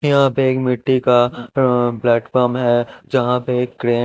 यहां पे एक मिट्टी का अह प्लेटफार्म है जहां पे एक क्रेन --